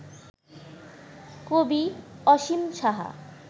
কবি অসীম সাহা